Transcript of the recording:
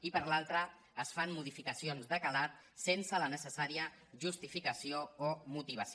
i per l’altra es fan modificacions de calat sense la necessària justificació o motivació